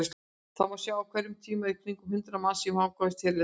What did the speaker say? Þar má sjá að á hverjum tíma eru í kringum hundrað manns í fangavist hérlendis.